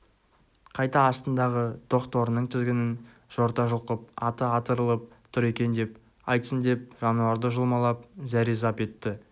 қайта астындағы тоқ торының тізгінін жорта жұлқып аты атырылып тұр екен деп айтсын деп жануарды жұлмалап зәрезап етті